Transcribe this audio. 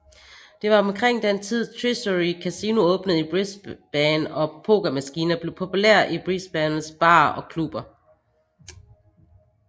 Det var omkring den tid Treasury Casino åbnede i Brisbane og pokermaskiner blev populære i Brisbanes barer og klubber